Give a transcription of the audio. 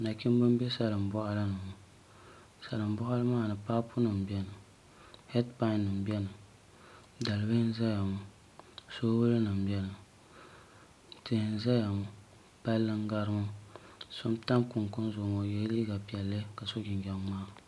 Nachimbi n bɛ salin boɣali ni salin boɣali maa ni paapu nim biɛni heed pai nim biɛni dalibili n ʒɛya ŋo soobuli nim biɛni tihi n ʒɛya ŋo palli n gari ŋo so n tan kunkun zuɣu ŋo o yɛla liiga piɛlli ka so jinjɛm ŋmaa